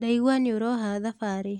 Ndaigua nĩũroha thabarĩ.